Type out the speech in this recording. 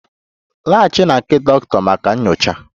Laghachi na nke dọkịta maka nyocha!